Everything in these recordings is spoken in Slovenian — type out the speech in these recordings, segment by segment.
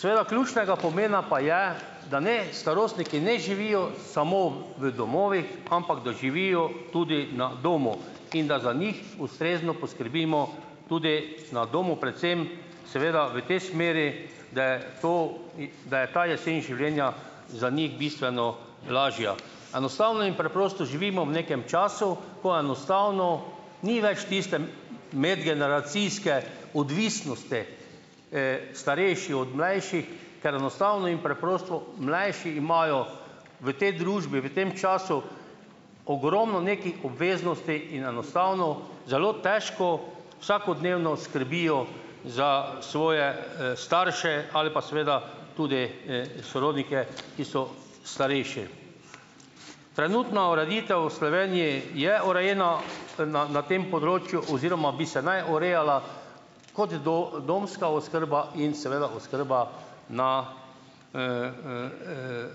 Seveda ključnega pomena pa je, da ne, starostniki ne živijo samo v domovih, ampak da živijo tudi na domu, in da za njih ustrezno poskrbimo tudi na domu, predvsem seveda v tej smeri, da je to, da je ta jesen življenja za njih bistveno lažja. Enostavno in preprosto živimo v nekem času, ko enostavno ni več tiste medgeneracijske odvisnosti starejši od mlajših, ker enostavno in preprosto, mlajši imajo v tej družbi, v tem času ogromno nekih obveznosti in enostavno zelo težko vsakodnevno skrbijo za svoje, starše ali pa seveda tudi, sorodnike, ki so starejši. Trenutna ureditev v Sloveniji je urejena na na tem področju oziroma bi se naj urejala kot domska oskrba in seveda oskrba na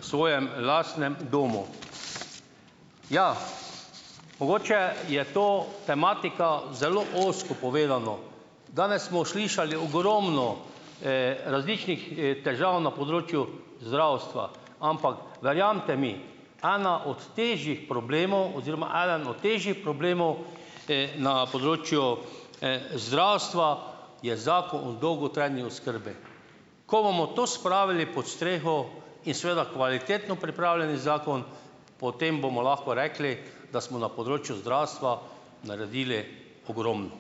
svojem lastnem domov. Ja, mogoče je ta tematika zelo ozko povedana. Danes smo slišali ogromno, različnih, težav na področju zdravstva, ampak verjamete mi, eden od težjih problemov oziroma eden od težjih problemov, na področju, zdravstva je Zakon o dolgotrajni oskrbi. Ko bomo to spravili pod streho in seveda kvalitetno pripravljeni zakon, potem bomo lahko rekli, da smo na področju zdravstva naredili ogromno.